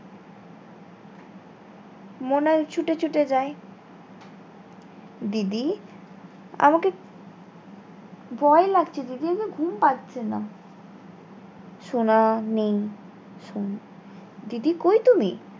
মনে ছুটে ছুটে যায় দিদি আমাকে ভয় লাগছে দিদি আমার ঘুম পাচ্ছে না সোনা নেই সোনা দিদি কোই তুমি?